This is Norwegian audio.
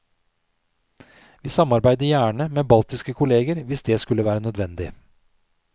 Vi samarbeider gjerne med baltiske kolleger hvis det skulle være nødvendig.